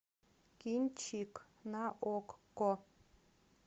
кинчик на окко